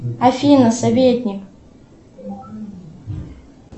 афина советник